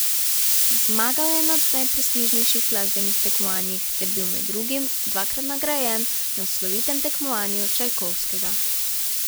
Zmagal je na najprestižnejših glasbenih tekmovanjih ter bil med drugim dvakrat nagrajen na slovitem tekmovanju Čajkovskega.